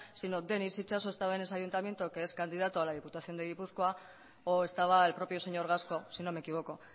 sino denis itxaso estaba en ese ayuntamiento que es candidato a la diputación de gipuzkoa o estaba el propio señor gasco sino me equivoco